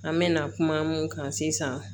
An mɛna kuma mun kan sisan